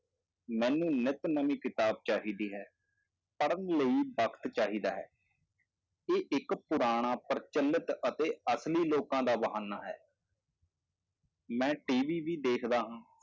ਮੈਨੂੰ ਨਿਤ ਨਵੀਂ ਕਿਤਾਬ ਚਾਹੀਦੀ ਹੈ, ਪੜ੍ਹਨ ਲਈ ਵਕਤ ਚਾਹੀਦਾ ਹੈ, ਇਹ ਇੱਕ ਪੁਰਾਣਾ ਪ੍ਰਚਲਿਤ ਅਤੇ ਅਸਲੀ ਲੋਕਾਂ ਦਾ ਬਹਾਨਾ ਹੈ ਮੈਂ TV ਵੀ ਵੇਖਦਾ ਹਾਂ,